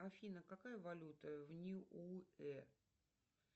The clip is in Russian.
афина какая валюта в ниуэ